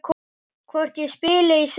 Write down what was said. Hvort ég spili í sumar?